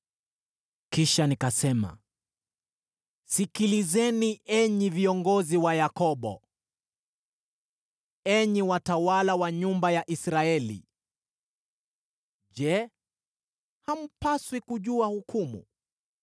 Kisha nikasema, “Sikilizeni enyi viongozi wa Yakobo, enyi watawala wa nyumba ya Israeli. Je, hampaswi kujua hukumu,